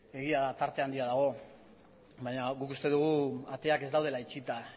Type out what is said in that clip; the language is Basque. egia da tarte handia dagoela baina guk uste dugu ateak ez daudela itxita